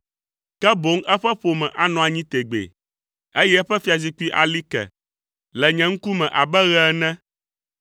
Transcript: Ke boŋ eƒe ƒome anɔ anyi tegbee, eye eƒe fiazikpui ali ke le nye ŋkume abe ɣe ene.